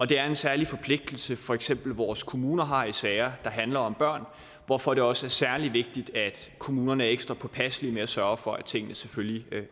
det er en særlig forpligtelse for eksempel vores kommuner har i sager der handler om børn hvorfor det også er særlig vigtigt at kommunerne er ekstra påpasselige med at sørge for at tingene selvfølgelig